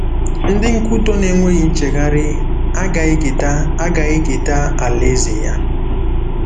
Ndị nkwutọ na-enweghị nchegharị agaghị eketa agaghị eketa Alaeze ya.